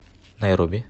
найроби